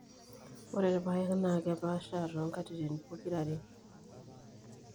ore irpaek naa kepaashaa too nkatititin pokira ere.